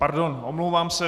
Pardon, omlouvám se.